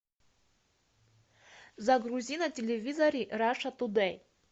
загрузи на телевизоре раша тудэй